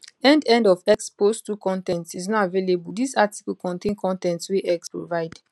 end end of x post 2 con ten t is not available dis article contain con ten t wey x provide